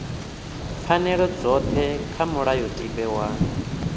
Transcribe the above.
pfanelo dzothe kha mulayotibe wa